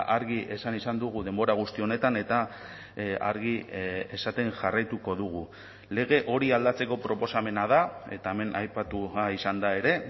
argi esan izan dugu denbora guzti honetan eta argi esaten jarraituko dugu lege hori aldatzeko proposamena da eta hemen aipatu izan da ere